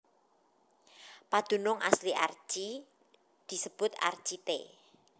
Padunung asli Archi disebut Archite